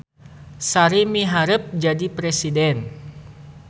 Sari miharep jadi presiden